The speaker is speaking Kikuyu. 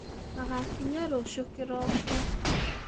Magakĩnya rũciũ kĩroko.